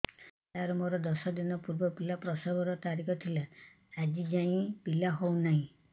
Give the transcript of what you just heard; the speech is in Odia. ସାର ମୋର ଦଶ ଦିନ ପୂର୍ବ ପିଲା ପ୍ରସଵ ର ତାରିଖ ଥିଲା ଆଜି ଯାଇଁ ପିଲା ହଉ ନାହିଁ